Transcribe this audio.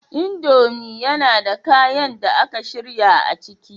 Indomie yana da kayan da aka shirya a ciki